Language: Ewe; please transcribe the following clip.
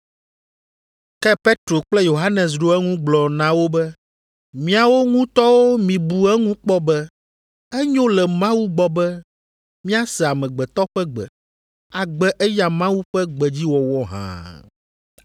Ke Petro kple Yohanes ɖo eŋu gblɔ na wo be, “Miawo ŋutɔwo mibu eŋu kpɔ be enyo le Mawu gbɔ be míase amegbetɔ ƒe gbe, agbe eya Mawu ƒe gbedziwɔwɔ hã?